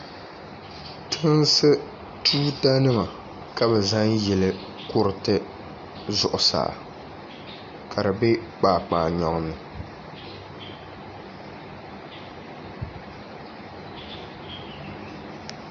tinsi tuutanima ka bɛ zaŋ yili kuriti zuɣusaa ka di be kpaakpaanyɔŋ ni